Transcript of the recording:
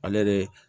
Ale de